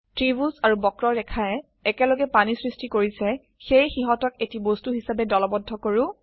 ত্ৰিভুজ আৰু বক্ৰৰেখায়ে একলগে পানী সৃষ্টি কৰিছে সেয়ে সিহতক এটি বস্তু হিসাবে দলবদ্ধ কৰো